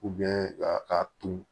a ton